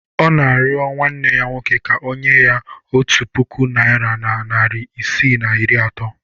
Ọ na-arịọ nwanne ya nwoke ka o nye ya otu puku naira na narị isii na iri atọ